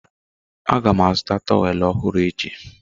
Aga m azụta tọwelụ ọhụrụ echi.